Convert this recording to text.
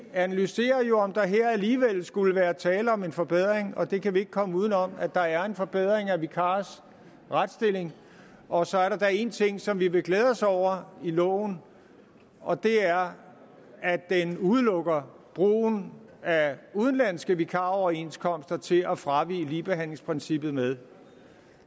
analyserer om der her alligevel skulle være tale om en forbedring og det kan vi ikke komme uden om at der er der er en forbedring af vikarers retsstilling og så er da én ting som vi vil glæde os over i loven og det er at den udelukker brugen af udenlandske vikaroverenskomster til at fravige ligebehandlingsprincippet med